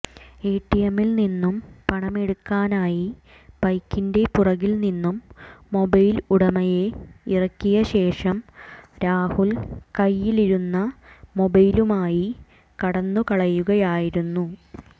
എടിഎമ്മിൽ നിന്നും പണമെടുക്കാനായി ബൈക്കിൻറെ പുറകിൽ നിന്നും മൊബൈല് ഉടമയെ ഇറക്കിയ ശേഷം രാഹുൽ കൈയിലിരുന്ന മൊബൈലുമായി കടന്നു കളയുകയായിരുന്നു